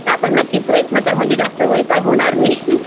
त्या पण नक्कीच प्रयत्न कर म्हणजे जास्त वैताग होणार नाही